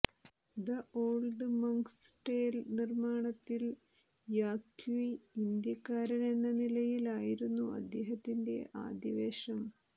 the old monk's tale നിർമ്മാണത്തിൽ യാക്വി ഇന്ത്യക്കാരനെന്ന നിലയിൽ ആയിരുന്നു അദ്ദേഹത്തിന്റെ ആദ്യ വേഷം